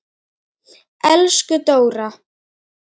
Elsku Dóra.